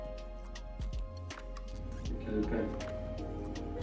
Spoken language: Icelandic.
Hversu geggjaður gæi?